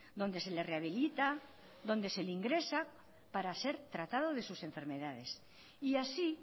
donde se le rehabilita donde se le ingresa para ser tratado de sus enfermedades y así